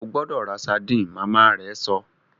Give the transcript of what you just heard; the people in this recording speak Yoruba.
O gbọdọ rá sardine! Màmá rẹ sọ